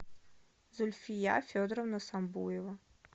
зульфия федоровна самбуева